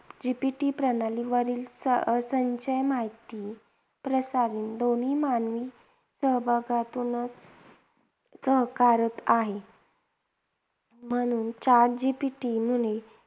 GPT प्रणाली वरील संच अं संचय माहिती प्रसारण दोन्ही मानवी सहभागातूनच साकारत आहे. म्हणून chat GPT याने